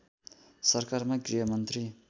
सरकारमा गृहमन्त्री